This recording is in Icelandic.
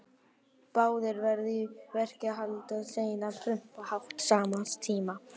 Báðir verið í verkfræði, haldið síðan áfram utan til framhaldsnáms.